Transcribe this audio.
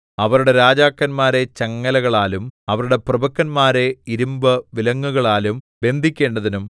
അവരുടെ രാജാക്കന്മാരെ ചങ്ങലകളാലും അവരുടെ പ്രഭുക്കന്മാരെ ഇരിമ്പുവിലങ്ങുകളാലും ബന്ധിക്കേണ്ടതിനും